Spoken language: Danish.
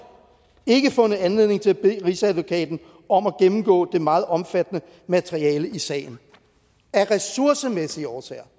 ikke fundet anledning til at bede rigsadvokaten om at gennemgå det meget omfattende materiale i sagen af ressourcemæssige årsager